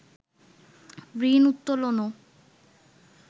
ঋণ উত্তোলনও